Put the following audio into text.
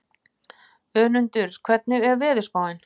Önundur, hvernig er veðurspáin?